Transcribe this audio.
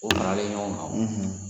O faralen ɲɔgɔn kan o